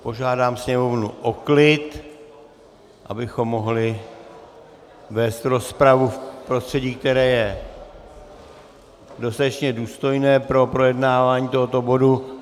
Požádám sněmovnu o klid, abychom mohli vést rozpravu v prostředí, které je dostatečně důstojné pro projednávání tohoto bodu.